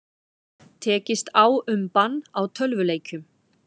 Tekist á um bann á tölvuleikjum